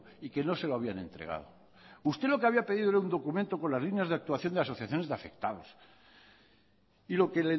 y que no se lo habían entregado usted lo que había pedido era un documento con las líneas de actuación de asociaciones de afectados y lo que